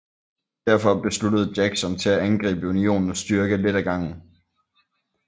Derfor besluttede Jackson til at angribe Unionens styrke lidt ad gangen